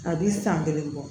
A bi san kelen bɔ